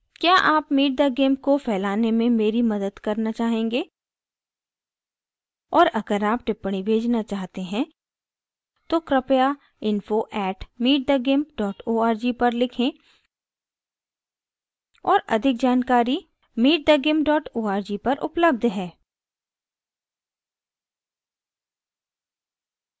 क्या आप meet the gimp को फ़ैलाने में मेरी मदद करना चाहेंगे और अगर आप टिप्पणी भेजना चाहते हैं तो कृपया info @meetthegimp org पर लिखें और अधिक जानकारी